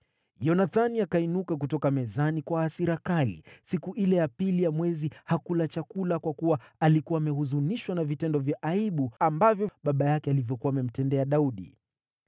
Yonathani akainuka kutoka mezani kwa hasira kali. Siku ile ya pili ya mwezi hakula chakula, kwa kuwa alikuwa amehuzunishwa na vitendo vya aibu ambavyo baba yake alikuwa anamtendea Daudi.